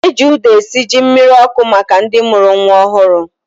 Eji ụda esi ji mmiri ọkụ maka ndị mụrụ nwa ọhụrụ